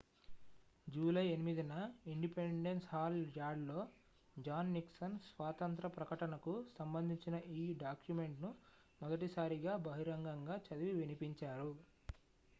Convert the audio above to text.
July 8న independence hall యార్డ్లో John Nixon స్వాతంత్ర ప్రకటనకు సంబంధించిన ఈ డాక్యుమెంట్ను మొదటిసారిగా బహిరంగంగా చదివి వినిపించారు